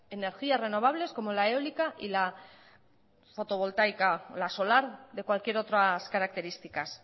energías renovables como la eólica y la fotovoltaica la solar de cualquier otras características